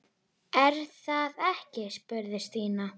Er það ekki? spurði Stína.